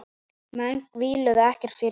Menn víluðu ekkert fyrir sér.